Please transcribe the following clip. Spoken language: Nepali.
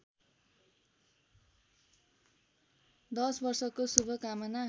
दश वर्षको शुभकामना